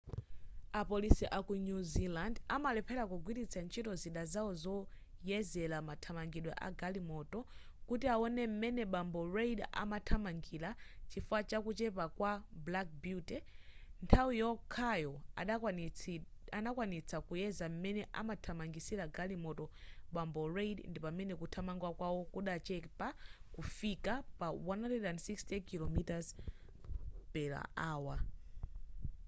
apolisi aku new zealand amalephera kugwiritsa ntchito zida zawo zoyezera mathamangidwe agalimoto kuti awone m'mene bambo reid amathamangira chifukwa chakuchepa kwa black beauty nthawi yokhayo adakwanitsa kuyeza m'mene amathamangisira galimoto bambo reid ndipamene kuthamanga kwawo kudachepa kufika pa 160km /h